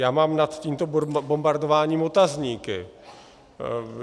Já mám nad tímto bombardováním otazníky.